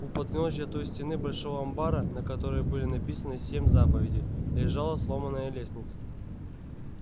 у подножия той стены большого амбара на которой были написаны семь заповедей лежала сломанная лестница